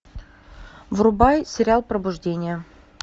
врубай сериал пробуждение